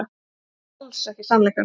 Og alls ekki sannleikann.